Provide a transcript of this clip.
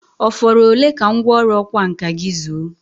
Ọ fọrọ ole ka ngwọrụ ọkwa nka gị zuo?